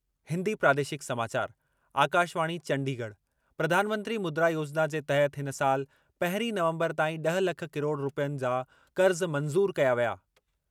हिंदी प्रादेशिक समाचार, आकाशवाणी चंडीगढ, प्रधानमंत्री मुद्रा योजिना जे तहत इन साल पहिरीं नवंबर ताईं ड॒ह लख किरोड़ रूपयनि जा क़र्ज़ मंज़ूरु कया विया।